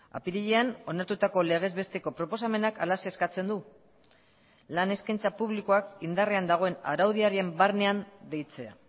apirilean onartutako legez besteko proposamenak halaxe eskatzen du lan eskaintza publikoak indarrean dagoen araudiaren barnean deitzea